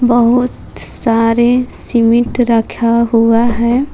बहुत सारे सीमेंट रखा हुआ है।